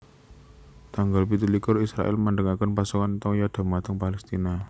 Tanggal pitu likur Israèl mandhegaken pasokan toya dhumateng Palestina